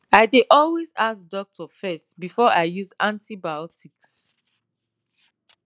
i dey always ask doctor first before i use antibiotics